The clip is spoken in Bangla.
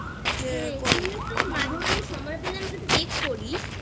তুই একটু মাঝেমাঝে সময় পেলে আমাকে Text করিস